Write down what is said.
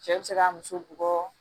Cɛ bi se ka muso bugɔ